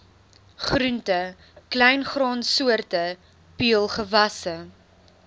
groente kleingraansoorte peulgewasse